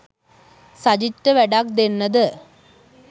සජිත්ට වැඩක් දෙන්න ද